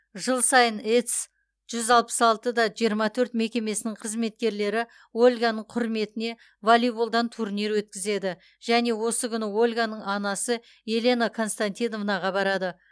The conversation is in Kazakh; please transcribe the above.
жыл сайын ец жүз алпыс алты да жиырма төрт мекемесінің қызметкерлері ольганың құрметіне волейболдан турнир өткізеді және осы күні ольганың анасы елена константиновнаға барады